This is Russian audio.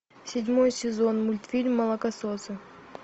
седьмой сезон мультфильм молокососы